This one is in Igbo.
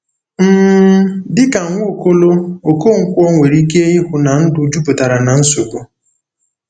um Dị ka Nwaokolo, Okonkwo nwere ike ịhụ na ndụ jupụtara na nsogbu.